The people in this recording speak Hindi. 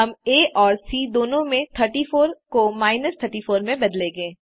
हम Aऔर Cदोनों में 34 को माइनस 34 में बदलेंगे